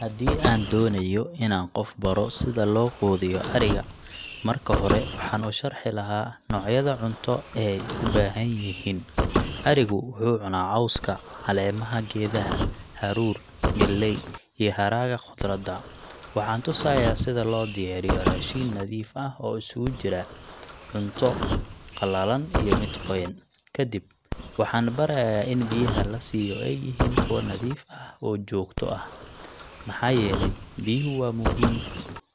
Haddii aan doonayo inaan qof baro sida loo quudiyo ariga, marka hore waxaan u sharxi lahaa noocyada cunto ee ay u baahan yihiin. Arigu wuxuu cunaa cawska, caleemaha geedaha, haruur, galley iyo hadhaaga khudradda. Waxaan tusayaa sida loo diyaariyo raashin nadiif ah oo isugu jira cunto qalalan iyo mid qoyan. Kadib, waxaan barayaa in biyaha la siiyo ay yihiin kuwo nadiif ah oo joogto ah, maxaa yeelay biyuhu waa muhiim